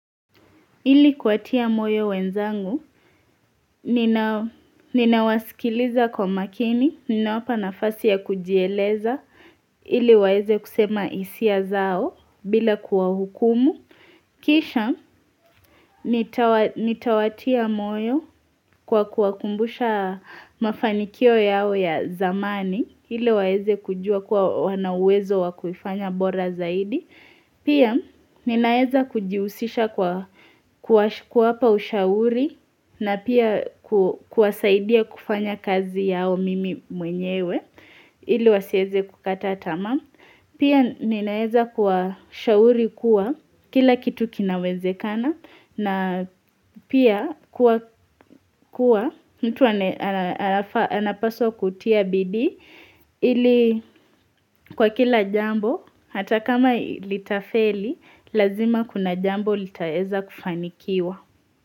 Ili kuwatia moyo wenzangu, ninawasikiliza kwa makini, ninawapa nafasi ya kujieleza, ili waeze kusema isia zao bila kuwa hukumu. Kisha, nitawatia moyo kwa kuwakumbusha mafanikio yao ya zamani, ili waeze kujua kwa wanawezo wakufanya bora zaidi. Pia ninaeza kujiusisha kuwa hapa ushauri na pia kuwasaidia kufanya kazi yao mimi mwenyewe ili wasieze kukata tamaa. Pia ninaeza kuwa ushauri kuwa kila kitu kinaweze kana na pia kuwa kuwa mtu anapaswa kutia bidii ili kwa kila jambo hata kama ili tafeli. Lazima kuna jambo litaeza kufanikiwa.